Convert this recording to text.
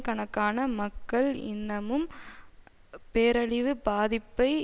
கணக்கான மக்கள் இன்னமும் பேரழிவு பாதிப்பை